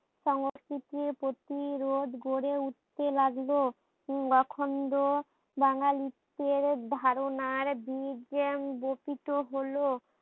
সংস্কৃতির প্রতিরোধ গড়ে উঠতে লাগলো, উম লোখন্ড বাঙালিত্বের ধারণার বকিত হলো।